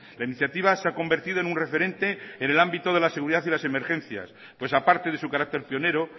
la iniciativa se ha convertido en un referente en el ámbito de la seguridad y las emergencias pues aparte de su carácter pionero